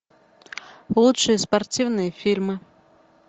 лучшие спортивные фильмы